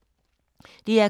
DR K